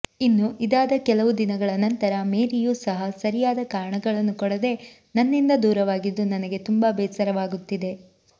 ಇನ್ನು ಇದಾದ ಕೆಲವು ದಿನಗಳ ನಂತರ ಮೇರಿಯು ಸಹ ಸರಿಯಾದ ಕಾರಣಗಳನ್ನು ಕೊಡದೇ ನನ್ನಿಂದ ದೂರವಾಗಿದ್ದು ನನಗೆ ತುಂಬಾ ಬೇಸರವಾಗುತ್ತಿದೆ